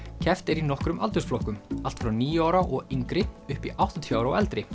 keppt er í nokkrum aldursflokkum allt frá níu ára og yngri upp í áttatíu ára og eldri